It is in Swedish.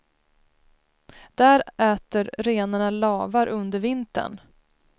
Där äter renarna lavar under vintern.